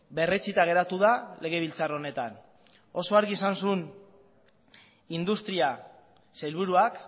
berretsita geratu da legebiltzar honetan oso argi esan zuen industria sailburuak